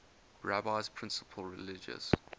rabbi's principal religious